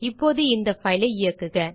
இப்போது இந்த பைல் ஐ இயக்குக